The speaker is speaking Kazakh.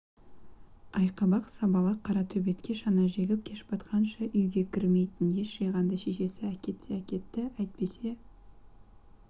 айқабақ сабалақ қара төбетке шана жегіп кеш батқанша үйге кірмейтін ес жиғанда шешесі әкетсе әкетті әйтпесе